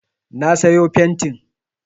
Na sayo fentin